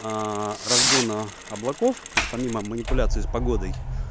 разгона облаков то есть помимо манипуляции с погодой